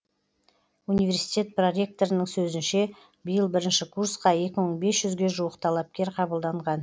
университет проректорының сөзінше биыл бірінші курсқа екі мың бес жүзге жуық талапкер қабылданған